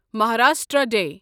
Maharashtra day